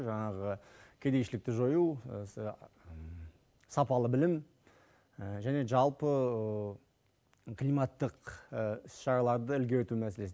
жаңағы кедейшілікті жою сапалы білім және жалпы климаттық іс шараларды ілгерілету мәселесі